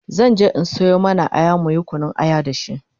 zanje in Sayo mana Aya muyi Kunun aya da shi